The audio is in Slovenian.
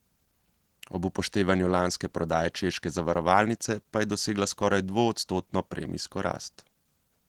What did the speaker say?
Ob upoštevanju lanske prodaje češke zavarovalnice pa je dosegla skoraj dvoodstotno premijsko rast.